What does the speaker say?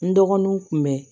N dɔgɔninw kun bɛ